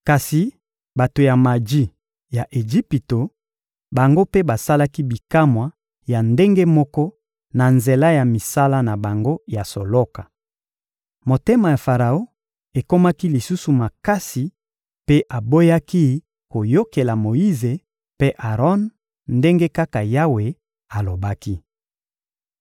Kasi bato ya maji ya Ejipito, bango mpe basalaki bikamwa ya ndenge moko na nzela ya misala na bango ya soloka. Motema ya Faraon ekomaki lisusu makasi mpe aboyaki koyokela Moyize mpe Aron ndenge kaka Yawe alobaki.